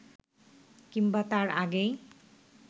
কিংবা তার আগেই